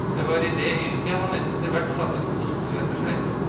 Det var i det yrket han etterhvert satte gode spor etter seg.